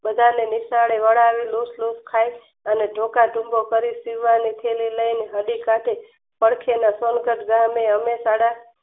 બધાને નિશાળે વળાવી દુટફુટ ખાય અને ધોકાધુંકો કરી સીવવાની થેલી લઈને ઘડી પાસે પડખેના ગમે ચરિતર ગમે અને સાડા